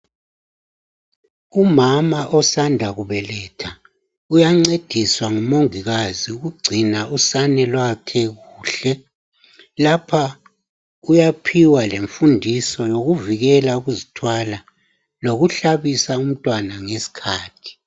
Umama osanda kubeletha uyancediswa ngumongilazi ukungcina usane lwakhe kuhle. Lapha kuyaphiwa lemfundiso yokuvikela ukuzithwala lokuhlabisa umntwana ngesikhathi.